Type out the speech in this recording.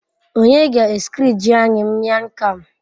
Onye ga Eskridge anyi Mian Kham